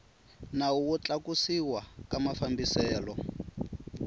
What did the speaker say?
nawu wo tlakusiwa ka mafambiselo